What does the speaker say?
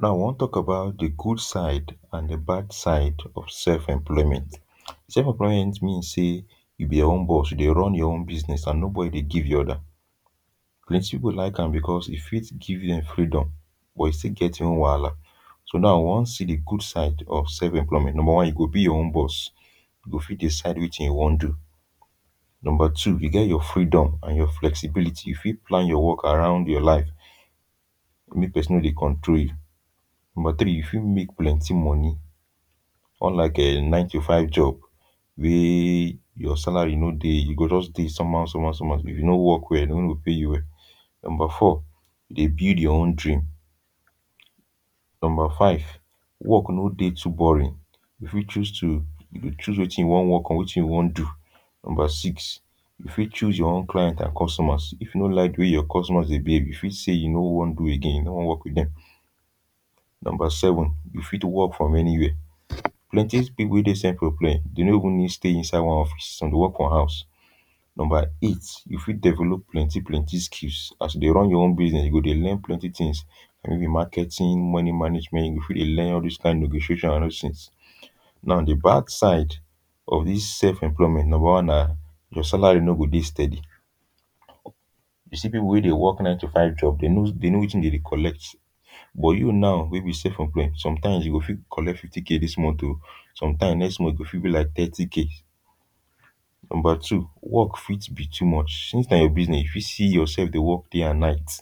Now we wan talk about de good side and de bad side of self-employment. Self employment mean sey you be your own boss, you dey run your own business and nobody dey give you order. Plenty pipul like am becos e fit give dem freedom but e still get e own wahala So now we wan see de good side of self-employment. Number one you go be your own boss. You go fit decide wetin you wan do. Number two, you get your freedom and your flexibility. You fit plan your work around your life, make pesin no dey control you. Number tri, you fit make plenty moni unlike um nine to five job wey your salary no dey you go just dey some how, some how some how, if you no work well dey no go pay you well. Number four, dey build your own dream. Number five, work no dey too boring. You fit choose to, you go choose wetin you wan work on or wetin you wan do. Number six, you fit choose your own clients and customers, you fit no like de way your customers dey behave, you fit sey you no wan do again, you no wan work with dem. Number seven, you fit work from anywia. Plenty pipul wey dey self-employ dey no even need stay inside one office, some dey work for house. Number eight you fit develop plenty plenty skills, as you dey run your own business you go dey learn plenty tins maybe marketing, money management, you fit dey learn all dos kind negotiations and all dos tins. Now de bad side of dis self-employment, number one na your salary no go dey steady. You see pipul wey dey work nine to five job den know, den know wetin dem dey collect. But you now wey be self-employed sometime you go fit collect fifty kay dis month.o, sometime next month e go fit be like thiry kay. Number two, work fit be too much since na your business you fit see yourself dey work day and night.